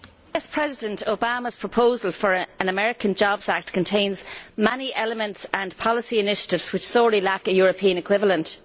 Madam President, President Obama's proposal for an American Jobs Act contains many elements and policy initiatives which sorely lack a European equivalent.